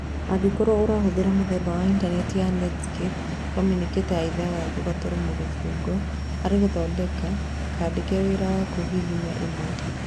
Angĩkorwo ũrahũthĩra mũthemba wa intanenti ya Netscape communicator ya ithathatũ gaturumo kĩfũgũ, hari gathandũkũ kandĩke wĩra waku hihinya ĩmwe.